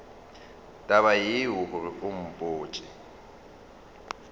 taba yeo gore o mpotše